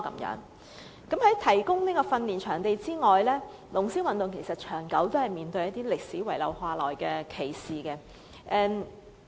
除了提供訓練場地之外，龍獅運動長期面對一些歷史遺留下來的歧視。